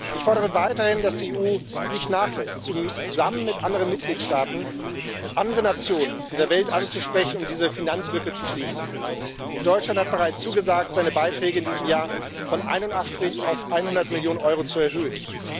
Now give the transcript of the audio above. Ich fordere weiterhin, dass die EU nicht nachlässt, zusammen mit anderen Mitgliedstaaten andere Nationen dieser Welt anzusprechen, um diese Finanzlücke zu schließen. Deutschland hat bereits zugesagt, seine Beiträge in diesem Jahr von 81 auf 100 Millionen Euro zu erhöhen.